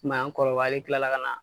an kɔrɔbalen kila la ka na